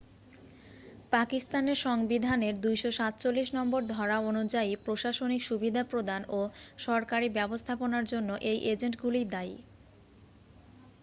পাকিস্তানের সংবিধানের 247 নম্বর ধরা অনুযায়ী প্রশাসনিক সুবিধা প্রদান ও সরকারি ব্যবস্থাপনার জন্য এই এজেন্টগুলিই দায়ী